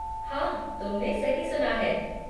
हाँ तुमने सही सुना है।